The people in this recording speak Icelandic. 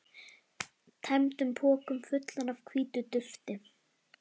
tæmdum pokum, fullum af hvítu dufti.